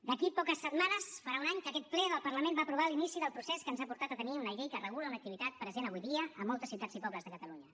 d’aquí a poques setmanes farà un any que aquest ple del parlament va aprovar l’inici del procés que ens ha portat a tenir una llei que regula una activitat present avui dia en moltes ciutats i poble de catalunya